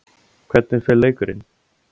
Hvernig fer leikurinn?